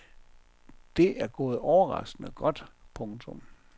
Det er gået overraskende godt. punktum